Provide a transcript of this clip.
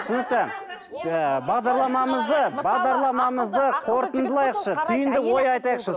түсінікті ы бағдарламамызды бағдарламамызды қорытындылайықшы түйінді ой айтайықшы